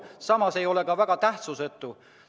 Samas ei ole see amet sugugi tähtsusetu.